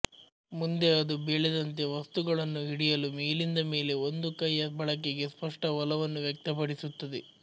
ಮುಂದೆ ಅದು ಬೆಳೆದಂತೆ ವಸ್ತುಗಳನ್ನು ಹಿಡಿಯಲು ಮೇಲಿಂದ ಮೇಲೆ ಒಂದು ಕೈಯ ಬಳಕೆಗೆ ಸ್ಪಷ್ಟ ಒಲವನ್ನು ವ್ಯಕ್ತಪಡಿಸುತ್ತದೆ